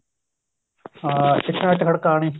ਹਾਂ ਇੱਟ ਨਾਲ ਇੱਟ ਖੜਕਾਉਣੀ